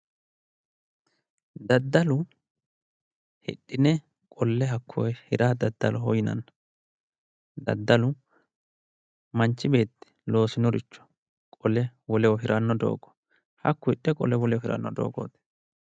Daddallu hidhine qolle hirranni hakko daddaloho yinnanni, daddalu manchi beetti loosinoricho qole woleho hiranno doogo hakku hidhe woleho hiranno doogooti